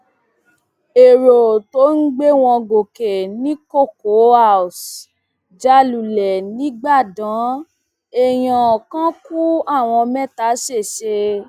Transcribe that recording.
èrò tó ń gbé wọn gòkè ní cocoa house já lulẹ nígbàdàn èèyàn kan ku àwọn mẹta ṣẹṣẹ